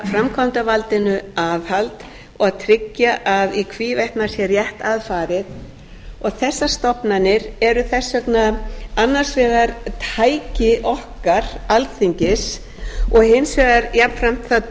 framkvæmdarvaldinu aðhald og að tryggja að í hvívetna sé rétt að farið og þessar stofnanir eru þess vegna annars vegar tæki okkar alþingis og hins vegar jafnframt það